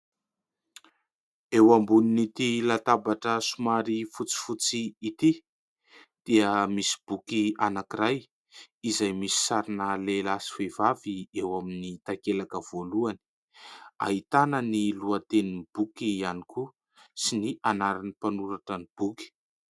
Eo ambonin'ity latabatra somary fotsifotsy ity dia misy boky anankiray izay misy sarina lehilahy sy vehivavy eo amin'ny takelaka voalohany, ahitana ny lohatenin'ny boky ihany koa sy ny anaran'ny mpanoratra ny boky.